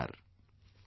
Namaskar